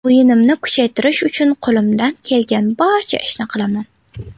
O‘yinimni kuchaytirish uchun qo‘limdan kelgan barcha ishni qilaman.